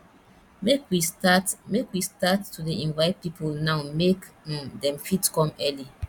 make we start make we start to dey invite people now make um dem fit come early